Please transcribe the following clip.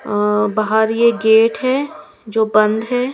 अ बाहर ये गेट है जो बंद है।